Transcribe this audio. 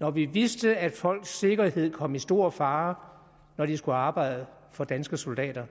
når vi vidste at folks sikkerhed kom i stor fare når de skulle arbejde for danske soldater